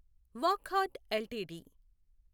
Wockhardt LTD